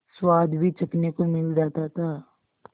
स्वाद भी चखने को मिल जाता था